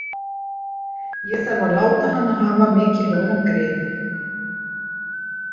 Ég þarf að láta hana hafa mikilvægan grip.